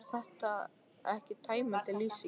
Auðvitað er þetta ekki tæmandi lýsing.